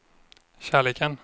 kärleken